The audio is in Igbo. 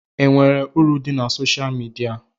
E nwere uru dị na soshal midia?